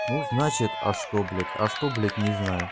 ну значит а что блять а что блять не знаю